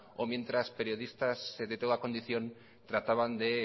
o mientras periodistas de teda condición trataban de